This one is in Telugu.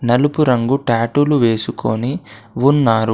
నలుపు రంగు టాటూలు వేసుకొని ఉన్నారు.